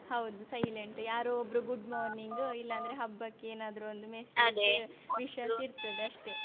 ಹೌದು silent ಯಾರೋ ಒಬ್ರು good morning ಇಲ್ಲಾಂದ್ರೆ ಹಬ್ಬಕ್ಕೆ ಏನಾದ್ರು ಒಂದು wishes ಇರ್ತದೆ ಅಷ್ಟೇ.